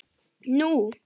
Nú?